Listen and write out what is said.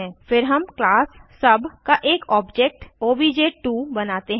फिर हम class sub का एक ऑब्जेक्ट ओबीजे2 बनाते हैं